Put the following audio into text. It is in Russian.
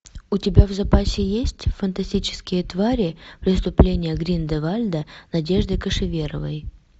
у тебя в запасе есть фантастические твари преступление гриндевальда надежды кошеверовой